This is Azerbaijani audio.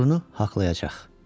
oğrunu haqlayacaq.